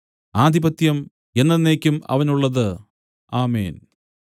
ആധിപത്യം എന്നെന്നേക്കും അവനുള്ളത് ആമേൻ